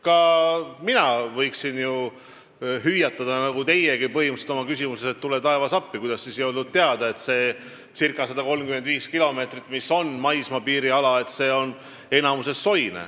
Ka mina võiksin ju hüüatada, nagu teiegi põhimõtteliselt oma küsimuses, et tule, taevas, appi, kuidas siis ei olnud teada, et see circa 135 kilomeetrit, mis on maismaapiiriala, on enamasti soine.